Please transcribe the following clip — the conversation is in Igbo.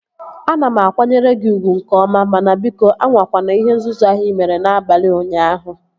Ana m akwanyere gị ugwu nke ọma mana biko, anwakwana ihe nzuzu ahụ ị mere n'abalị ụnyaahụ